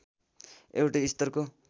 एउटै स्तरको